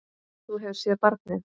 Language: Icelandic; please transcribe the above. Þú hefur séð barnið?